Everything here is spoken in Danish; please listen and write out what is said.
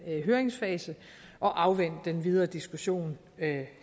høringsfase og afvente den videre diskussion